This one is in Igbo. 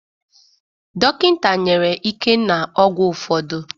Dọkịta nyere Ikenna ọgwụ ụfọdụ